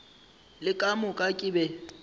le ka moka ke be